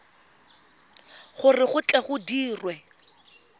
gore go tle go dirwe